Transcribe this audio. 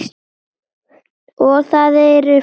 Og það eru fleiri.